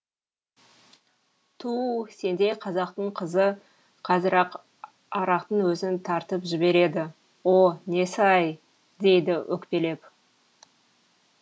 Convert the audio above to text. туу сендей қазақтың қызы қазір ақ арақтың өзін тартып жібереді о несі ай дейді өкпелеп